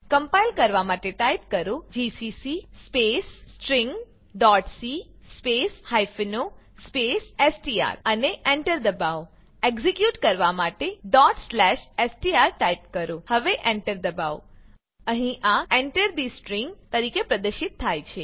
compile કરવા માટે type કરો જીસીસી સ્પેસ stringસી સ્પેસ o સ્પેસ એસટીઆર અને એન્ટર દબાવો એક્ઝીક્યુટ કરવા માટે str ટાઈપ કરો હવે એન્ટર દબાવો અહીં આ Enter થે સ્ટ્રીંગ તરીકે પ્રદર્શિત થાય છે